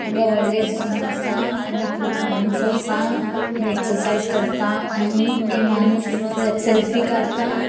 हांगा वडले जिम आसा आणि खूप माणूस आसा आणि एक्सर्साइज करता ये माणूस सेल्फी काढता.